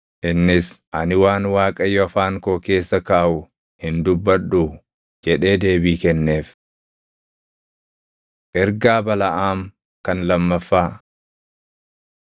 Innis, “Ani waan Waaqayyo afaan koo keessa kaaʼu hin dubbadhuu?” jedhee deebii kenneef. Ergaa Balaʼaam Kan Lammaffaa